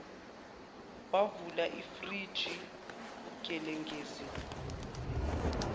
wavula ifriji gengelezi